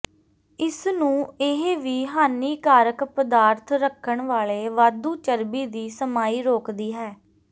ਇਸ ਨੂੰ ਇਹ ਵੀ ਹਾਨੀਕਾਰਕ ਪਦਾਰਥ ਰੱਖਣ ਵਾਲੇ ਵਾਧੂ ਚਰਬੀ ਦੀ ਸਮਾਈ ਰੋਕਦੀ ਹੈ